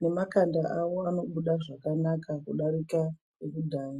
nemakanda awo anobuda zvakanaka kudarika ekudhaya.